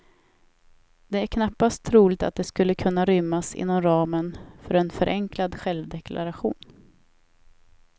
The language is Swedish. Det är knappast troligt att det skulle kunna rymmas inom ramen för en förenklad självdeklaration.